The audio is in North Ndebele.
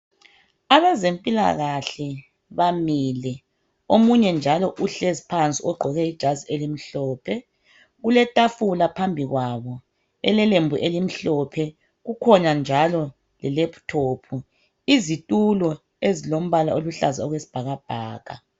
Abezempilakahle bamile omunye njalo uhlezi phansi ugqoke ijazi elimhlophe. Kuletafula phambili kwabo elilelembu elimhlophe njalo laptop. Izitulo ezilombala oluhlaza okwesibhakabhaka.